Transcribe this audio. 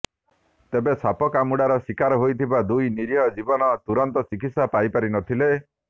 ତେବେ ସାପ କାମୁଡାର ଶିକାର ହୋଇଥିବା ଦୁଇ ନୀରିହ ଜୀବନ ତୁରନ୍ତ ଚିକିତ୍ସା ପାଇ ପାରି ନଥିଲେ